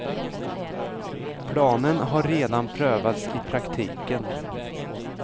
Planen har redan prövats i praktiken.